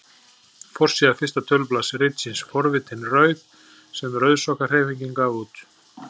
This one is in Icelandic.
Forsíða fyrsta tölublaðs ritsins Forvitin rauð sem Rauðsokkahreyfingin gaf út.